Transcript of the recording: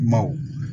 Maw